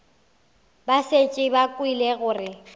ba šetše ba kwele gore